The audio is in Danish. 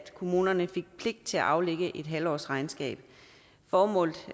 kommunerne fik pligt til at aflægge et halvårsregnskab formålet